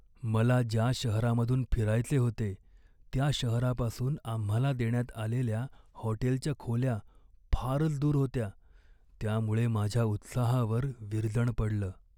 मला ज्या शहरामधून फिरायचे होते त्या शहरापासून आम्हाला देण्यात आलेल्या हॉटेलच्या खोल्या फारच दूर होत्या, त्यामुळे माझ्या उत्साहावर विरजण पडलं.